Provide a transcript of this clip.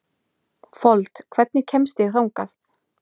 Stuðningsmenn Ali kallast sjítar.